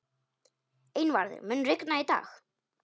Einvarður, mun rigna í dag?